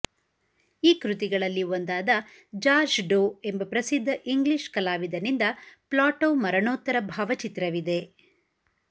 ಈ ಕೃತಿಗಳಲ್ಲಿ ಒಂದಾದ ಜಾರ್ಜ್ ಡೋ ಎಂಬ ಪ್ರಸಿದ್ಧ ಇಂಗ್ಲಿಷ್ ಕಲಾವಿದನಿಂದ ಪ್ಲಾಟೊವ್ ಮರಣೋತ್ತರ ಭಾವಚಿತ್ರವಿದೆ